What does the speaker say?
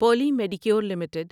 Poly Medicure limited